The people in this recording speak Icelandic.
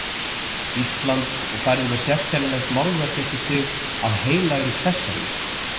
Íslands og færði mér sérkennilegt málverk eftir sig af Heilagri Sesselju.